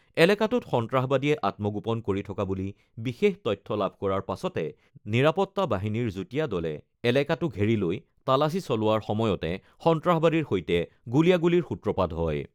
এলেকাটোত সন্ত্ৰাসবাদীয়ে আত্মগোপন কৰি থকা বুলি বিশেষ তথ্য লাভ কৰাৰ পাছতে নিৰাপত্তা বাহিনীৰ যুটীয়া দলে এলেকাটো ঘেৰি লৈ তালাচী চলোৱাৰ সময়তে সন্ত্ৰাসবাদীৰ সৈতে গুলীয়াগুলীৰ সূত্ৰপাত হয়।